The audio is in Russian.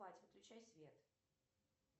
выключай свет